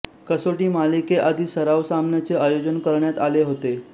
कसोटी मालिकेआधी सराव सामन्याचे आयोजन करण्यात आले होते